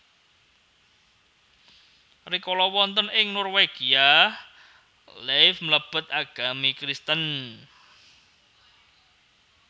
Rikala wonten ing Norwegia Leif mlebet agami Kristen